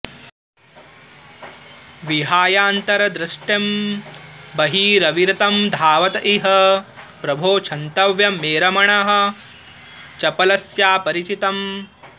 विहायान्तर्दृष्टिं बहिरविरतं धावत इह प्रभो क्षन्तव्यं मे रमण चपलस्यापचरितम्